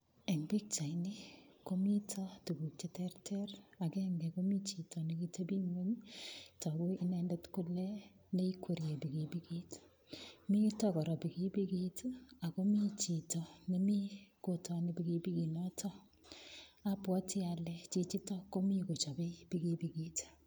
Eng pichaini komi tukuk che terter, agenge komi cito nekiteping'weny togu inendet kole neikweriei pikipikit. Mito kora pikipikit akomi chito nemi kotoni pikipikinotok. Abwote ale chichitok komi kochobei pikipikit.